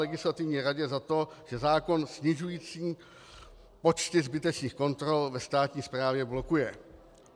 Legislativní radě za to, že zákon snižující počty zbytečných kontrol ve státní správě blokuje.